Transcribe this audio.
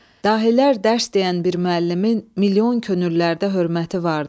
Dahilər dərs deyən bir müəllimin milyon könüllərdə hörməti vardı.